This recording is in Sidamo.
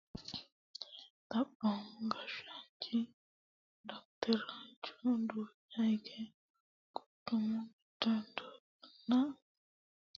Xaphoomu gashshaanchi dottorchu duucha hige quchumu giddo dooganna quchummate biinfile seekkine agarre daggano ilamara coite gobba ragisiiso yee sokkasi saysannati la'nannihu.